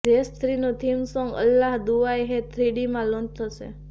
race થ્રીનું theme song અલ્લાહ દુહાઈ હૈ થ્રીડીમાં લોન્ચ થશે